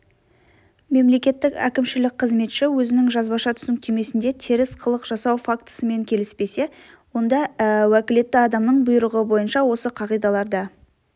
мемлекеттік әкімшілік қызметші өзінің жазбаша түсініктемесінде теріс қылық жасау фактісімен келіспесе онда уәкілетті адамның бұйрығы бойынша осы қағидаларда